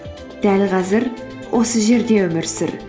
дәл қазір осы жерде өмір сүр